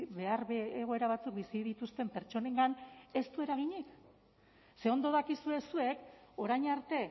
behar egoera batzuk bizi dituzten pertsonengan ez du eraginik ze ondo dakizue zuek orain arte